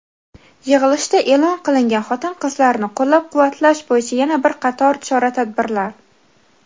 Yig‘ilishda eʼlon qilingan xotin-qizlarni qo‘llab-quvvatlash bo‘yicha yana bir qator chora-tadbirlar:.